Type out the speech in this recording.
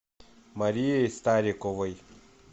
марией стариковой